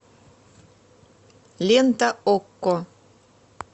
лента окко